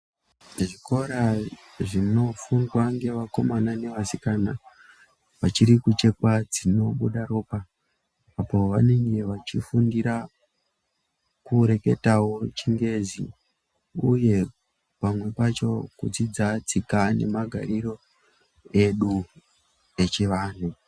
Zvikora zvinofundwa ngevakomana nevasikana vachiri kuchekwa dzinobuda ropa apo vanenge vachifundira kureketawo chingezi uye pamwe pacho kudzidza tsika nemagariro edu echivanhu.